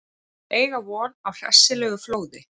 Eiga von á hressilegu flóði